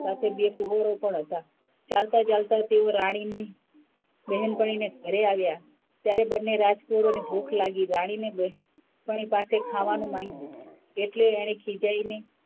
સાથે બે કુવરો પણ હતાં. ચાલતાં -ચાલતાં તેઓ રાણીની બહેનપણી ને ઘરે આવ્યાં, ત્યારે બન્ને રાજકુવરોને ભૂખ લાગી રાણીની બહેનપણી પાસે ખાવાનું માંગ્યું એટલે એને ખીજાયને,